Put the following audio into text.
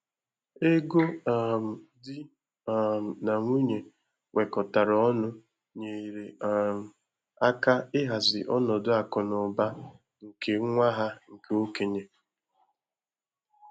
Ego um di um nà nwunye wekọtara ọnụ nyere um áká ịhazi ọnọdụ akụnaụba nke nwa ha nke okenye.